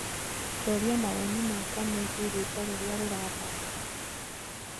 tuuria mawoni makwa meegĩe rwĩmbo rũrĩa rurathaka